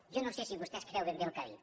jo no sé si vostè es creu ben bé el que ha dit